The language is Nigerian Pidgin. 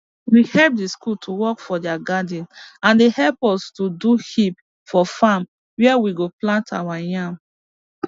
we help the school to work for their garden and they help us do heaps for farm where we go plant our yam